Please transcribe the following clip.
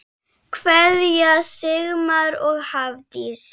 Kveðja, Sigmar og Hafdís.